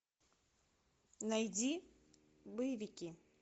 найди боевики